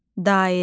Dairə.